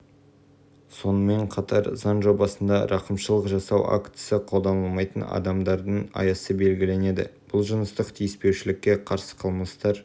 сонымен қатар заң жобасында рақымшылық жасау актісі қолданылмайтын адамдардың аясы белгіленеді бұл жыныстық тиіспеушілікке қарсы қылмыстар